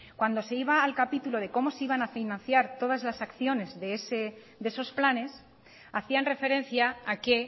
cuando se iba al capítulo de cómo se iban a financiar todas las acciones de esos planes hacían referencia a que